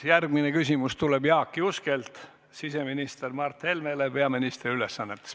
Järgmine küsimus tuleb Jaak Juskelt siseminister Mart Helmele peaministri ülesannetes.